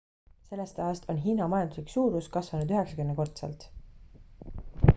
sellest ajast on hiina majanduslik suurus kasvanud 90-kordselt